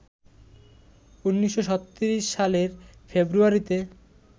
১৯৩৬ সালের ফেব্রুয়ারিতে